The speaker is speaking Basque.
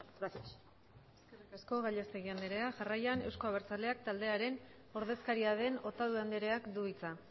gracias eskerrik asko gallastegui andrea jarraian eusko abertzaleak taldearen ordezkaria den otadui andreak du hitza